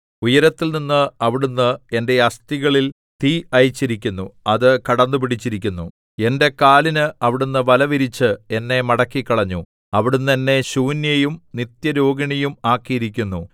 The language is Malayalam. ഉയരത്തിൽനിന്ന് അവിടുന്ന് എന്റെ അസ്ഥികളിൽ തീ അയച്ചിരിക്കുന്നു അത് കടന്നുപിടിച്ചിരിക്കുന്നു എന്റെ കാലിന് അവിടുന്ന് വല വിരിച്ച് എന്നെ മടക്കിക്കളഞ്ഞു അവിടുന്ന് എന്നെ ശൂന്യയും നിത്യരോഗിണിയും ആക്കിയിരിക്കുന്നു